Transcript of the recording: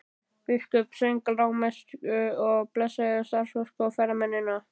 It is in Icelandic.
Biskup söng lágmessu og blessaði staðarfólk og ferðamennina.